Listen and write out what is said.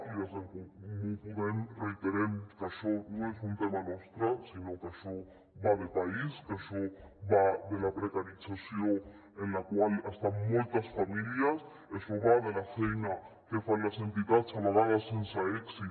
i des d’en comú podem reiterem que això no és un tema nostre sinó que això va de país que això va de la precarització en la qual estan moltes famílies això va de la feina que fan les entitats a vegades sense èxit